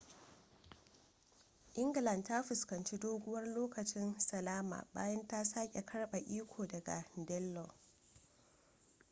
england ta fuskanci doguwar lokacin salama bayan ta sake karbe iko daga danelaw